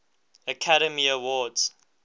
academy awards